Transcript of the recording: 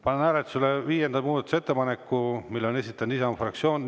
Panen hääletusele viienda muudatusettepaneku, mille on esitanud Isamaa fraktsioon.